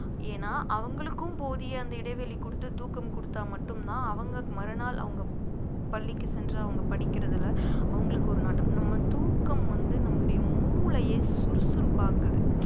ஏன்னா அவங்களுக்கும் போதிய அந்த இடைவெளி குடுத்து தூக்கம் குடுத்தா மட்டும்தான் அவங்க மறுநாள் அவங்க பள்ளிக்கு சென்று அவங்க படிக்கிறதுல அவங்களுக்கு ஒரு நட்டம் நம்ம தூக்கம் வந்து நம்மளுடைய மூளையை சுறுசுறுப்பாக்குது